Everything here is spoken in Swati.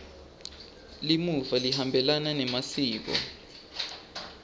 limuva lihambelana nemasiko